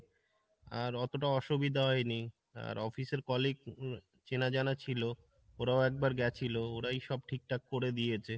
আর অতটা অসুবিধা হয় নি আর office এর colleague উম চেনাজানা ছিল ওরাও একবার গেছিলো ওরাই সব ঠিক থাকে করে দিয়েছে।